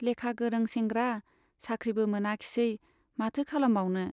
लेखा गोरों सेंग्रा , साख्रिबो मोनाखिसै माथो खालामबावनो ?